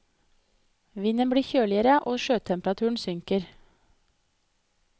Vinden blir kjøligere og sjøtemperaturen synker.